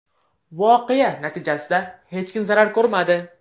Voqea natijasida hech kim zarar ko‘rmadi.